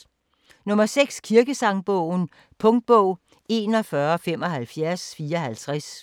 6. Kirkesangbogen Punktbog 417554